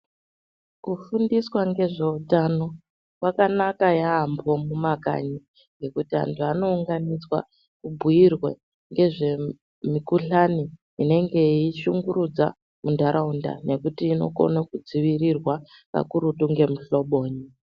Kufundiswa ngezveutano kwakanaka yambho mumakanyi ngekuti anthu anounganidzwa obhuyirwa ngezvemukuhlani inenge yeishungurudza muntaraunda ngekuti inokona kudzivirirwa kakurutu ngemuhloboyi.